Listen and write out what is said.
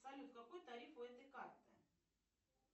салют какой тариф у этой карты